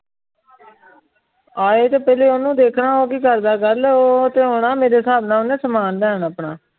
ਆਏ ਤੇ ਪਹਿਲੇ ਓਨੁ ਦੇਖਣਾ ਉਹ ਕਿ ਕਰਦਾ। ਗੱਲ ਉਹ ਤੇ ਹੁਣ ਮੇਰੇ ਸਾਬ ਨਾਲ ਓਨਾ ਸਮਾਨ ਲੈਣ ਆਪਣਾ।